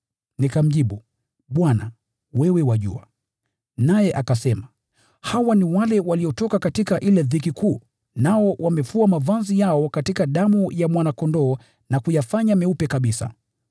Nikamjibu, “Bwana, wewe wajua.” Naye akasema, “Hawa ni wale waliotoka katika ile dhiki kuu, nao wamefua mavazi yao katika damu ya Mwana-Kondoo na kuyafanya meupe kabisa.